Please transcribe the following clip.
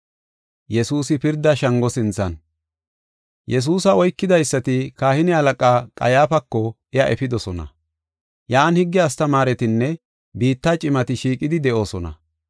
Yesuusa oykidaysati kahine halaqaa Qayyaafako iya efidosona. Yan higge astamaaretinne biitta cimati shiiqidi de7oosona.